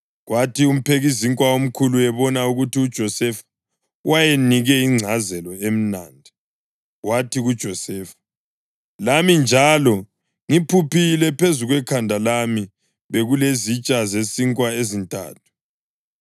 Kwathi umphekizinkwa omkhulu ebona ukuthi uJosefa wayenike ingcazelo emnandi, wathi kuJosefa, “Lami njalo ngiphuphile: Phezu kwekhanda lami bekulezitsha zesinkwa ezintathu.